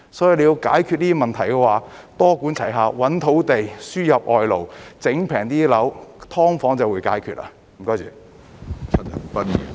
所以，要解決這些問題，便要多管齊下，覓土地、輸入外勞，令樓價更低廉，"劏房"問題就會得到解決。